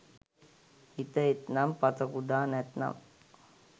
හිත එත්නම් පත කුඩා නැත්නම්